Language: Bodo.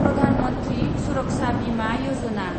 प्रधान मन्थ्रि सुरक्षा बिमा यजना